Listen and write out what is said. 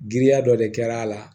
Giriya dɔ de kɛra a la